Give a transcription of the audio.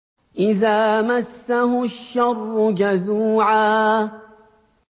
إِذَا مَسَّهُ الشَّرُّ جَزُوعًا